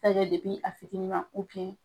kɛ a fitini ma